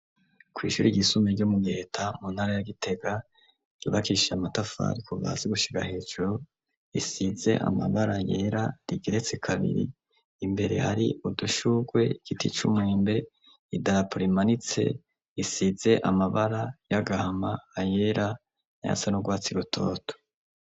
Kw' ishuri iryisumbye ryo mu giheta muntara ya gitega, ryubakishijwe amatafari kuva hasi gushika hejuru ,risize amabara yera, rigeretsi kabiri, imbere hari udushugwe ,igiti c'umwembe, idarapo rimanitse isize amabara y'agahama ,ayera n'ayasa n'urwatsi irutoto.